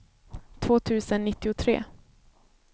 två tusen nittiotre